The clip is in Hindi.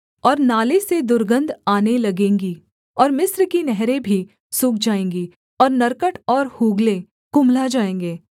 और नाले से दुर्गन्ध आने लगेंगे और मिस्र की नहरें भी सूख जाएँगी और नरकट और हूगले कुम्हला जाएँगे